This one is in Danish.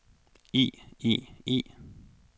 i i i